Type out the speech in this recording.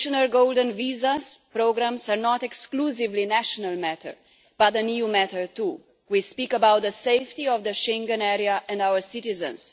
Golden visa programmes are not exclusively a national matter, but an EU matter too. We talk about the safety of the Schengen area and our citizens.